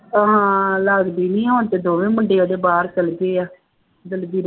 ਹਾਂ ਲੜਦੀ ਨਹੀਂ ਹੁਣ ਤਾਂ ਦੋਵੇਂ ਮੁੰਡੇ ਉਹਦੇ ਬਾਹਰ ਚੱਲ ਗਏ ਹੈ ਦਲਬੀਰ